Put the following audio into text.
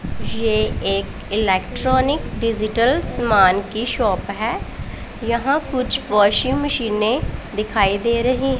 ये एक electronic digital समान की शॉप है यहां कुछ वॉशिंग मशीनें दिखाई दे रही--